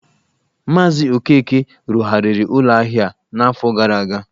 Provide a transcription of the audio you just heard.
Maazị Okeke rụzigharịrị ụlọ ahịa a n’afọ gara aga.